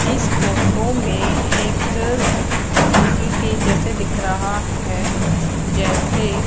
इस फोटो में एक हॉस्पिटल के जैसे दिख रहा है जैसे--